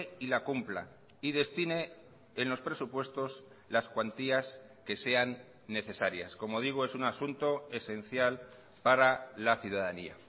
y la cumpla y destine en los presupuestos las cuantías que sean necesarias como digo es un asunto esencial para la ciudadanía